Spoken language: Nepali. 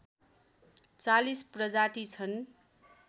४० प्रजाति छन्